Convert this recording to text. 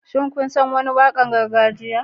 Shin kun san wani waƙar gargajiya?